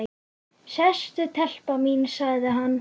Sestu telpa mín, sagði hann.